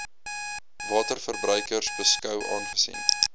waterverbruikers beskou aangesien